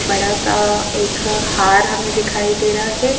बड़ा सा एक हार हमें दिखाई दे रहा है।